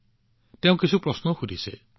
লগতে তেওঁ কিছুমান প্ৰশ্নও শুধিছে